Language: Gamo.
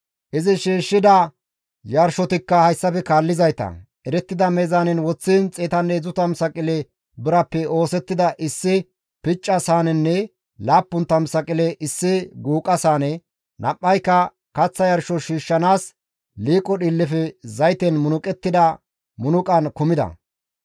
Izi shiishshida yarshotikka hayssafe kaallizayta, erettida meezaanen woththiin 130 saqile birappe oosettida issi picca saanenne 70 saqile issi guuqa saane, nam7ayka kaththa yarsho shiishshanaas liiqo dhiillefe zayten munuqettida munuqan kumida.